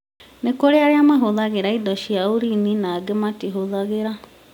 nĩkũrĩ na arĩa mahũthagĩra indo cia ũrini na angĩ matihũthagĩra